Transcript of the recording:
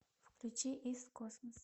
включи ист космос